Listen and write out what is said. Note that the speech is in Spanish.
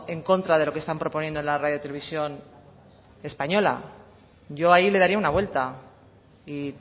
en contra de lo que están proponiendo en la radio televisión española yo ahí le daría una vuelta y